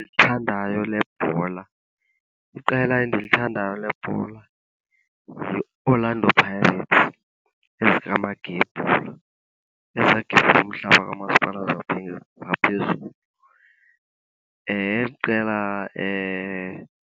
lebhola, iqela endilithandayo lebhola yiOrlando Pirates ezikamagebhula, ezagebhula umhlaba kamasipala ngaphezulu. Eli qela